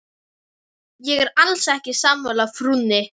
Ég er alls ekki sammála frúnni.